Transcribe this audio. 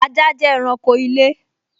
Ajá jẹ́ ẹranko ilé